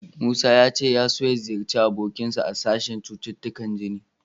Musa ya ce ya so ya ziyarci abokinsa a sashen cututtukan jini.